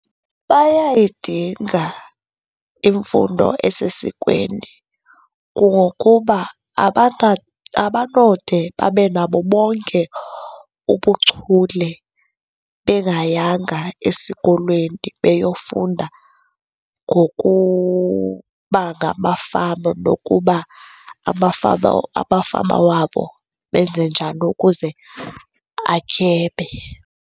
Bayayidinga imfundo esesikweni, kungokuba abanode babe nabo bonke ubuchule bengayanga esikolweni beyofunda ngokuba ngamafama nokuba amafama wabo benze njani ukuze atyebe.